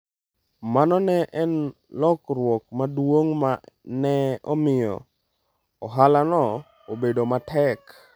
Mano ne en lokruok maduong’ ma ne omiyo ohalano obedo matek.